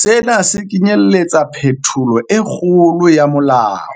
Sena se kenyeletsa phetholo e kgolo ya molao,